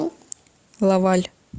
лаваль